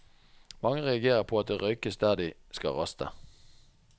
Mange reagerer på at det røykes der de skal raste.